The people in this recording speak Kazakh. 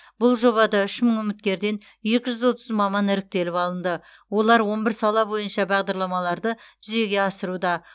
бұл жобада үш мың үміткерден екі жүз отыз маман іріктеліп алынды олар он бір сала бойынша бағдарламаларды жүзеге асыруда